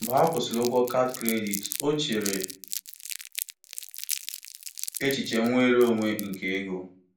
Mgbe ha kwụsịrị ụgwọ kaadị kredit, o chere echiche nnwere onwe nke ego.